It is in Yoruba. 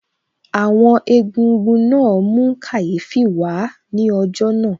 Àwọn Egúngún náà mú kàyéfì wà á ní ọjọ́ náà